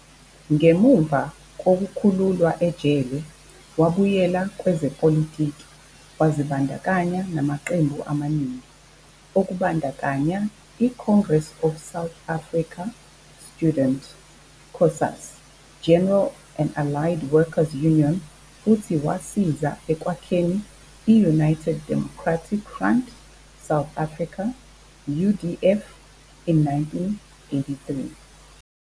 Ngemuva kokukhululwa ejele, wabuyela kwezepolitiki, wazibandakanya namaqembu amaningi, okubandakanya- iCongress of South African Student, COSAS, General and Allied Worker's Union futhi wasiza ekwakheni i-United Democratic Front, South Africa, UDF, in 1983.